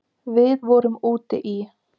Við vorum úti í